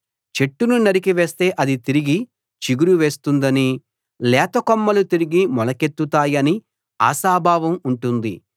చెట్టును నరికి వేస్తే అది తిరిగి చిగురు వేస్తుందనీ లేత కొమ్మలు తిరిగి మొలకెత్తుతాయనీ ఆశాభావం ఉంటుంది